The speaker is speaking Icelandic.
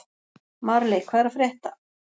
Marley, hvað er að frétta?